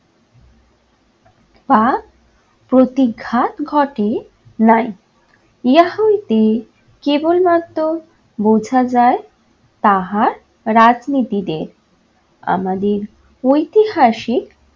বা প্রতিঘাত ঘটে নাই। ইহা হইতে কেবলমাত্র বোঝা যায় তাহার রাজনীতিতে আমাদের ঐতিহাসিক